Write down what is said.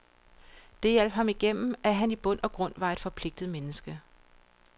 Det hjalp ham igennem at han i bund og grund var et forpligtet menneske.